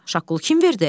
Şaqqulu: Kim verdi?